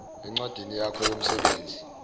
encwadini yakho yomsebenzi